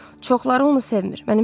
Çoxları onu sevmir.